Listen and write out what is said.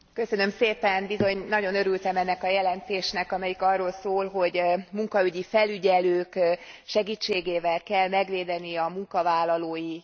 Bizony, nagyon örültem ennek a jelentésnek, amelyik arról szól, hogy munkaügyi felügyelők segítségével kell megvédeni a munkavállalói jogokat.